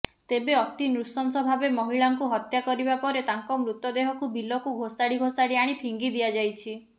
ତେବେ ଅତି ନୃସଂସଭାବେ ମହିଳାଙ୍କୁ ହତ୍ୟା କରିବା ପରେ ତାଙ୍କୁ ମୃତଦେହକୁ ବିଲକୁ ଘୋଷାଡିଘୋଷାଡି ଆଣି ଫିଙ୍ଗି ଦିଆଯୋଇଛି